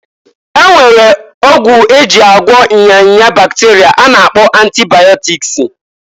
E nwere ọgwụ e ji agwọ nya nya bakterịa a na-akpọ antibaịọtikịsị.